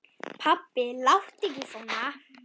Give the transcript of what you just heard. Pabbi láttu ekki svona.